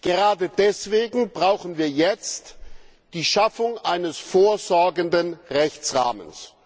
Gerade deswegen brauchen wir jetzt die Schaffung eines vorsorgenden Rechtsrahmens.